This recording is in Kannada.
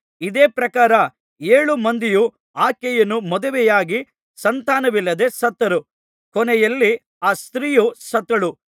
ಇದೇ ಪ್ರಕಾರ ಏಳು ಮಂದಿಯೂ ಆಕೆಯನ್ನು ಮದುವೆಯಾಗಿ ಸಂತಾನವಿಲ್ಲದೆ ಸತ್ತರು ಕೊನೆಯಲ್ಲಿ ಆ ಸ್ತ್ರೀಯೂ ಸತ್ತಳು